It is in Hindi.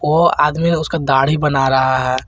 वो आदमी उसका दाढ़ी बना रहा है।